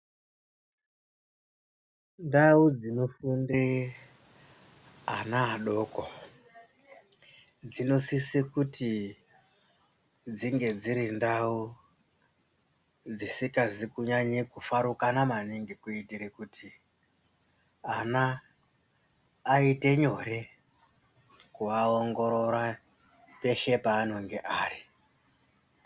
Ndau dzinofunde ana adoko dzinosise kuti dzinge dziri ndau dzisingazi kunyanya kufaranuka maningi kuitire kuti ana aite nyore kuaongorora peshe paanenge ari.